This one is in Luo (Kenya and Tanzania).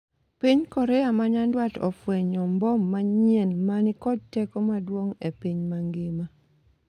Piny Korea ma nyandwat ofwenyo mbom manyien mani kod teko maduong' e piny mangima